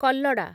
କଲ୍ଲଡା